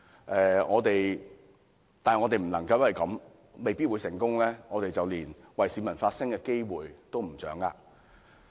不過，我們不能夠因為未必成功，便連為市民發聲的機會也放棄。